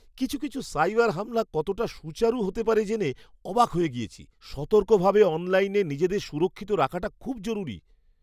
কিছু কিছু সাইবার হামলা কতটা সুচারু হতে পারে জেনে অবাক হয়ে গিয়েছি! সতর্কভাবে অনলাইনে নিজেদের সুরক্ষিত রাখাটা খুব জরুরি।